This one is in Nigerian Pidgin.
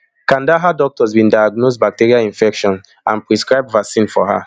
kandahar doctors bin diagnose bacterial infection and prescribe vaccine for her